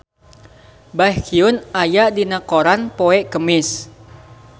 Baekhyun aya dina koran poe Kemis